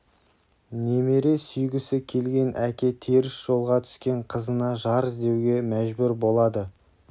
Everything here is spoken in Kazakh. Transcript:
немере сүйгісі келген әке теріс жолға түскен қызына жар іздеуге мәжбүр болады